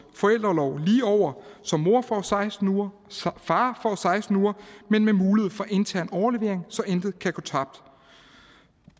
forældreorlov lige over så mor får seksten uger og far får seksten uger men med mulighed for intern overlevering så intet kan gå tabt